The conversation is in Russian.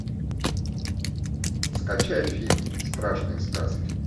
скачай фильм страшные сказки